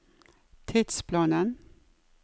tidsplanen